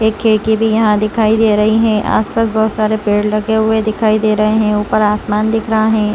एक खिड़की भी यहां दिखाई दे रही है आसपास बहुत सारे पेड़ लगे हुए दिखाई दे रहे हैं ऊपर आसमान दिख रहा है।